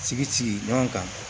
Sigi sigi ɲɔgɔn kan